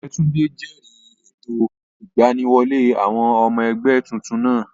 Ọ̀jẹ́túndé jẹ̀rìí ètò ìgbaniwọlé àwọn ọmọ ẹgbẹ́ tuntun náà